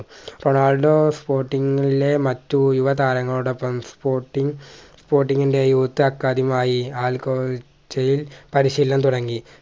Ronaldo sporting ലെ മറ്റ് യുവ താരങ്ങളോടൊപ്പം sportingsporting ന്റെ Youth അക്കാദമിയായി യിൽ പരിശീലനം തുടങ്ങി